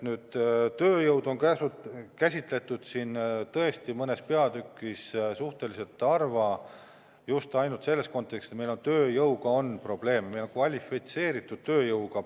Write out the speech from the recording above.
Tööjõudu on siin tõesti mõnes peatükis suhteliselt vähe käsitletud, just ainult selles kontekstis, et meil tööjõuga on probleeme, eriti kvalifitseeritud tööjõuga.